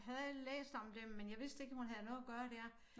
Havde læst om det men jeg vidste ikke hun havde noget at gøre dér